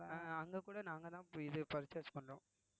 அஹ் அங்க கூட நாங்கதான் இது purchase பண்றோம்